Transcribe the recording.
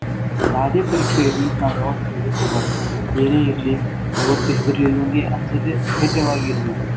ಯಾವ್ದೇ ಪರೀಕ್ಷೆ ಇರ್ಲಿ ನಾವ್ ಯಾವತ್ತ ಹೆದರ್ಕೊಂಬಾರ್ದು. ಏನೇ ಇರ್ಲಿ ಯಾವತ್ತು ಹೇದ್ರಲಿಲ್ದಂಗೇ ಅಂಜದೇ ಧೈರ್ಯವಾಗಿರ್ಬೇಕ್